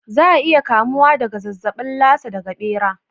Za a iya kamuwa daga zazzabin Lasa daga ɓera.